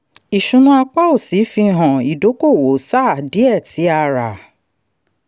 ìṣúná apá òsì fi hàn ìdókòwò sáà díẹ̀ tí a rà.